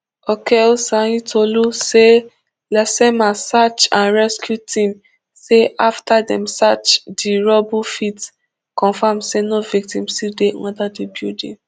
okeosanyintolu say lasema search and rescue team say afta dem search di rubble fit confam say no victim still dey under di building